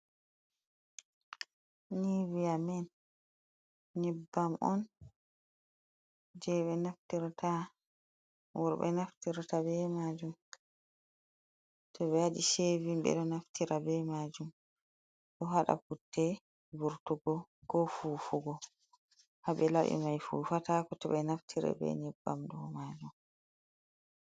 Niviya men nyebbam on je ɓe naftirta worɓe naftirta ɓe majum to be waɗi shevin ɓeɗo naftira ɓe majum ɗo haɗa putte vurtugo ko fufugo haɓe labi mai fufatako to ɓe naftiri be nyebbam ɗo majum.